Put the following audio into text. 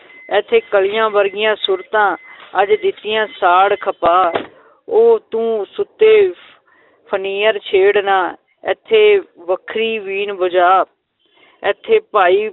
ਏਥੇ ਕਲੀਆਂ ਵਰਗੀਆਂ ਸੂਰਤਾਂ ਅੱਜ ਦਿੱਤੀਆਂ ਸਾੜ ਖਪਾ ਉਹ ਤੂੰ ਸੁਤੇ ਫਨੀਅਰ ਛੇੜ ਨਾ, ਏਥੇ ਵੱਖਰੀ ਬੀਨ ਵਜਾ ਏਥੇ ਭਾਈ